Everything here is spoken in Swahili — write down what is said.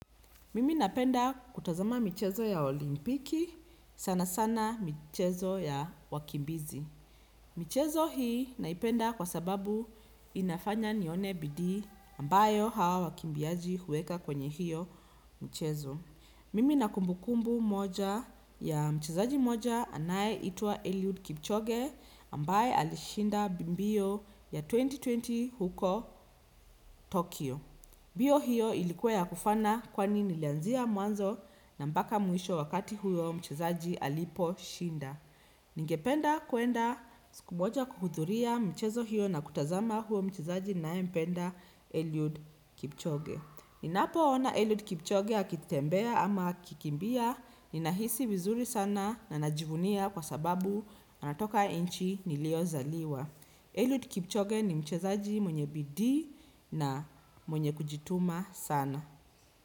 Mimi napenda kutazama michezo ya olimpiki, sana sana michezo ya wakimbizi. Michezo hii naipenda inafanya nione bidii ambayo hao wakimbiaji huweka kwenye hio michezo mimi nina kumbukumbu moja ya mchezaji moja anayeitwa Eliud Kipchoge ambaye alishinda mbio ya elfu mbili ishirini huko Tokyo. Mbio hiyo ilikuwa ya kufana kwani nilanzia mwanzo na mbaka mwisho wakati huyo mchezaji aliposhinda. Ningependa kwenda siku moja kuhudhuria mchezo hiyo na kutazama huyo mchezaji ninayempenda Eliud Kipchoge. Ninapo ona Eliud Kipchoge akitembea ama akikimbia ninahisi vizuri sana na najivunia kwa sababu anatoka inchi niliozaliwa. Elliot Kipchoge ni mchezaji mwenye bidii na mwenye kujituma sana.